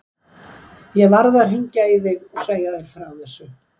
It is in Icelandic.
Ég varð að hringja í þig og segja þér frá þessu.